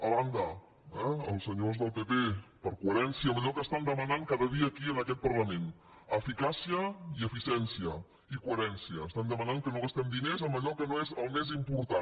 a banda eh els senyors del pp per coherència amb allò que demanen cada dia aquí en aquest parlament eficàcia i eficiència i coherència demanen que no gastem diners en allò que no és el més important